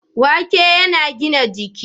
Wake yana gida jiki.